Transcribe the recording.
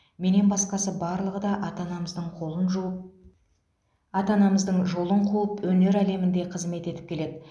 менен басқасы барлығы да ата анамыздың қолын жуып ата анамыздың жолын қуып өнер әлемінде қызмет етіп келеді